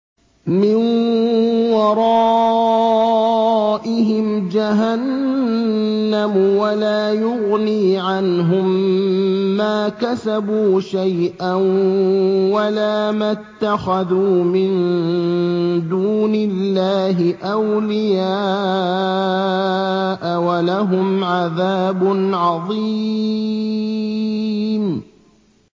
مِّن وَرَائِهِمْ جَهَنَّمُ ۖ وَلَا يُغْنِي عَنْهُم مَّا كَسَبُوا شَيْئًا وَلَا مَا اتَّخَذُوا مِن دُونِ اللَّهِ أَوْلِيَاءَ ۖ وَلَهُمْ عَذَابٌ عَظِيمٌ